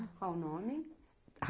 Qual o nome?